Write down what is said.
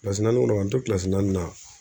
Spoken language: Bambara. kɔnɔ k'an to naani na